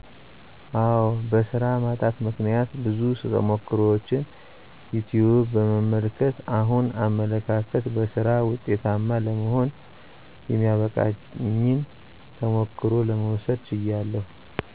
አዎ በሥራ ማጣት ምክነያት ብዙ ተሞክሮችን ዩትዩብ በመመልከት አሁን አመለካከት በሥራ ወጤታማ ለመሆን የሚያበቃኝን ተሞክሮ ለመውሰድ ችያለሁ